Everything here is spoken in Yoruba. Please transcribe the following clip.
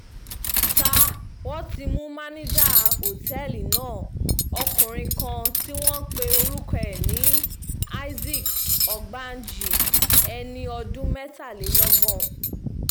ṣá wọn ti mú mànìjà òtẹ́ẹ̀lì náà ọkùnrin kan tí wọ́n pe orúkọ ẹ̀ ní isaac ọ̀gbájì ẹni ọdún mẹ́tàlélọ́gbọ̀n